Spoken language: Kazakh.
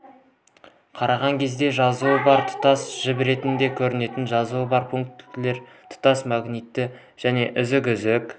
қараған кезде жазуы бар тұтас жіп ретінде көрінетін жазуы бар пунктирлер тұтас магнитті және үзік-үзік